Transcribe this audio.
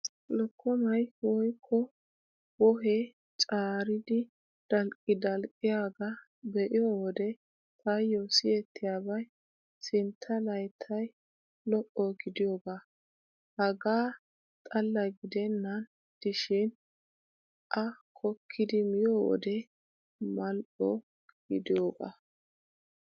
Lokkomay woykko wohee caaridi dalqqi dalqqiyaagaa be'iyo wode taayyo siyettiyaabay sintta layttay lo'o gidiyoogaa. Hegaa xalla gidennan diishin a kokkidi miyo wode Mal"o gidiyoogaa.